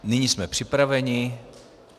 Nyní jsme připraveni.